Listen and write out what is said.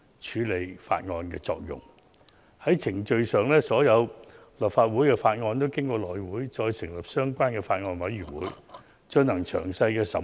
在程序上，所有立法會的法案皆要經過內務委員會成立相關法案委員會，進行詳細審議。